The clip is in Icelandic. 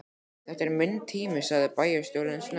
Þetta er minn tími sagði bæjarstjórinn snöggt.